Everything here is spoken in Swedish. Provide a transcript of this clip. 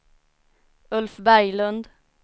Ulf Berglund